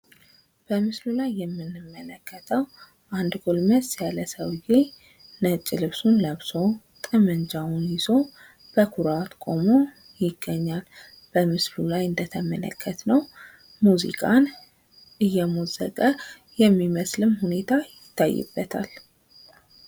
በምስሉ ላይ የምንመለከተው አንድ ጎልመስ ያለ ሰውየ ነጭ ልብስ ለብሶ፤ ጠበንጃውን ይዞ፤ በኩራት ቁሞ ይገኛል ።በምስሉ ላይ እንደምንመለከተው ሙዚቃን እነሞዘቀ የሚመስል ሁኔታ ይታይበታል ።